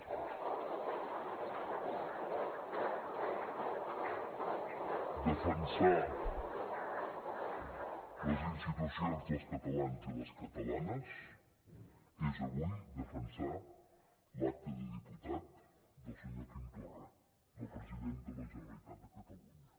defensar les institucions dels catalans i les catalanes és avui defensar l’acta de diputat del senyor quim torra del president de la generalitat de catalunya